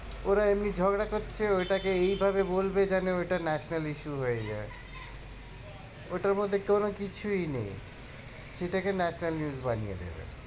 ওরা এমনি ঝগড়া করছে ওইটা কে এই ভাবে বলবে যেন ওইটা national issue হয়ে যায় ওইটার মধ্যে কোনো কিছুই নেই সেটাকে national news বানিয়ে দেবে।